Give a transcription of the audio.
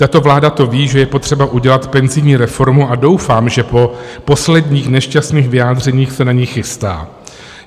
Tato vláda to ví, že je potřeba udělat penzijní reformu, a doufám, že po posledních nešťastných vyjádřeních se na ni chystá.